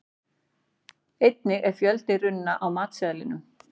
Einnig er fjöldi runna á matseðlinum.